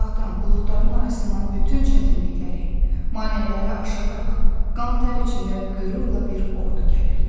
Uzaqdan buludların arasından bütün çətinlikləri, maneələri aşaraq, qan-tər içində qürurla bir ordu gəlirdi.